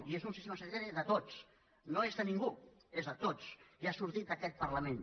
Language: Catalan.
i és un sistema sanitari de tots no és de ningú és de tots i ha sortit d’aquest parlament